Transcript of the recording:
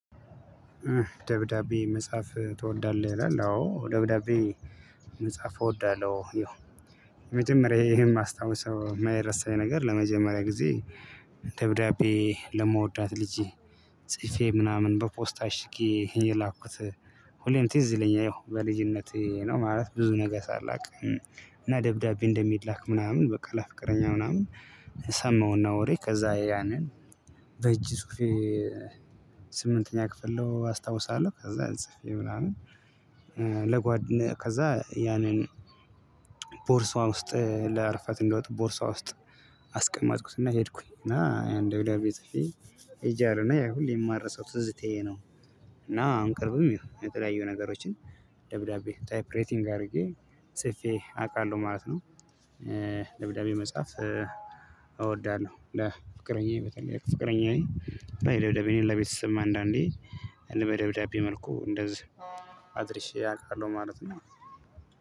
ደብዳቤ መጻፍ ትወዳለህ ይላል? አዎ ደብዳቤ መጻፍ እወዳለሁ። መጀመሪያ የማስታወስ የማይረሳኝ ነገር ለመጀመሪያ ጊዜ ደብዳቤ ለመወዳት ልጅ ጽፌ ምናምን በፖስታ አሽጌ የላኩት። ሁሌም ትዝ ይለኛል ይሄው በልጅነቴ ነው ማለት ብዙ ነገር ሳላውቅ። እና ደብዳቤ እንደሚላክ ምናምን በቃ ለፍቅረኛ ምናምን ሰማሁና ወሬ ከዚያ ያንን። በእጅ ጽፌ። ስምንተኛ ክፍል ነው አስታውሳለሁ። ከዛ ጽፌ ምናምን። ለጓድ ከዚያ ያንን ቦርሳዋ ውስጥ ለዕረፍት እንደወጡ ቦርሳዋ ውስጥ አስቀማጥኩትና ሄድኩኝ። እና ያን ደብላሪ ቤት ሄጄ አለና ያ ሁሌ የማረሳው ትዝት ይሄ ነው። እና አንቀርብም ይሄ የተለያዩ ነገሮችን ደብዳቤ ታይፕ ሬቲንግ አድርጌ ሰፌ አውቃለሁ ማለት ነው። ደብዳቤ መጽሐፍ እወዳለው። ፍቅረኛዬ በጠላት ፍቅረኛዬ ባይ ደብዳቤ እኔን ለቤተሰብ አንዳንዴ ልበ መልኩ እንደዚህ አድርሼ አውቃለሁ ማለት ነው።